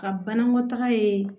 Ka banakɔ taga ye